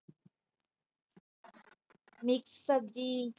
mix ਸਬਜੀ।